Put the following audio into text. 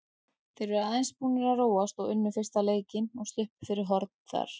Þeir eru aðeins búnir að róast og unnu fyrsta leikinn og sluppu fyrir horn þar.